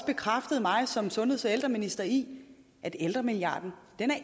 bekræftede mig som sundheds og ældreminister i at ældremilliarden